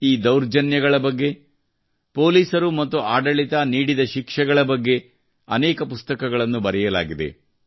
ಈ ದೌರ್ಜನ್ಯಗಳ ಬಗ್ಗೆ ಪೊಲೀಸರು ಮತ್ತು ಆಡಳಿತ ನೀಡದ ಶಿಕ್ಷೆಗಳ ಬಗ್ಗೆ ಅನೇಕ ಪುಸ್ತಕಗಳನ್ನು ಬರೆಯಲಾಗಿದೆ